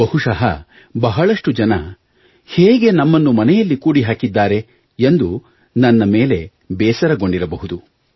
ಬಹುಶಃ ಬಹಳಷ್ಟು ಜನರು ಹೇಗೆ ನಮ್ಮನ್ನು ಮನೆಯಲ್ಲಿ ಕೂಡಿಹಾಕಿದ್ದಾರೆ ಎಂದು ನನ್ನ ಮೇಲೆ ಬೇಸರಗೊಂಡಿರಬಹುದು